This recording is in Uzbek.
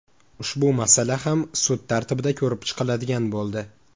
Ushbu masala ham sud tartibida ko‘rib chiqiladigan bo‘ldi.